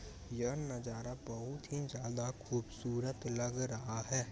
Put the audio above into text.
यह नजारा बहुत ही ज्यादा खुबसूरत लग रहा है।